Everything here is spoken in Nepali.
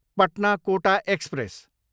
पटना, कोटा एक्सप्रेस